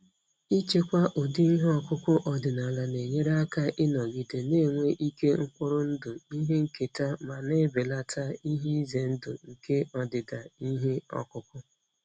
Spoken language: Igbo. Ichekwa ụdị ihe ọkụkụ ọdịnala na-enyere aka ịnọgide na-enwe ike mkpụrụ ndụ ihe nketa ma na-ebelata ihe ize ndụ nke ọdịda ihe ọkụkụ.